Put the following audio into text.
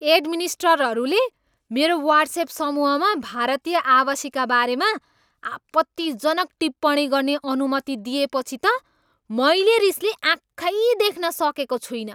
एडमिनिस्ट्ररहरूले मेरो वाट्स्एप समूहमा भारतीय आवासीका बारेमा आपत्तिजनक टिप्पणी गर्ने अनुमति दिएपछि त मैले रिसले आँखै देख्न सकेको छुइनँ।